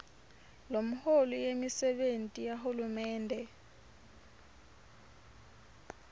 lomholi wemisebenti yahulumende